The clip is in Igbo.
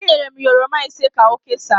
Enyere m ya oroma ise ka o kesaa